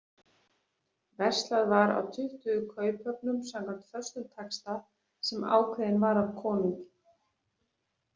Verslað var á tuttugu kauphöfnum, samkvæmt föstum taxta sem ákveðinn var af konungi.